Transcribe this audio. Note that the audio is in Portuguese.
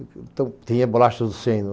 Então, tinha bolachas do Chêin.